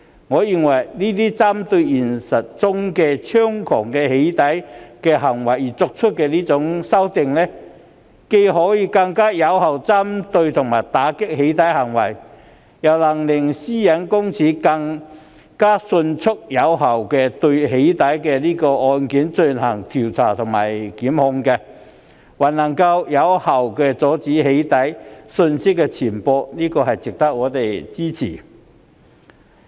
我認為，這些針對現實中猖獗的"起底"行為而作出的修訂，既能更有效打擊"起底"行為，亦能令個人資料私隱專員公署更迅速並有效地就"起底"個案進行調查及檢控，而且還能有效阻止"起底"資料的散布，因此值得我們支持。